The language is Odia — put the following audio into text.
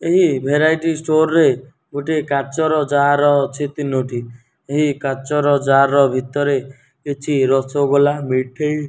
ଏହି ଭରାଇଟ୍ ଷ୍ଟୋର ରେ ଗୋଟିଏ କାଚର ଯାର ଅଛି ତିନୋଟି ଏହି କାଚର ଯାର ଭିତରେ କିଛି ରସୋଗୋଲ ମିଠେଇ --